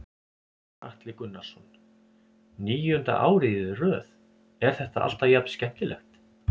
Gunnar Atli Gunnarsson: Níunda árið í röð, er þetta alltaf jafn skemmtilegt?